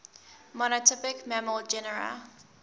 monotypic mammal genera